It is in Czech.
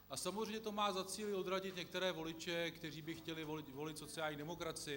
A samozřejmě to má za cíl odradit některé voliče, kteří by chtěli volit sociální demokracii.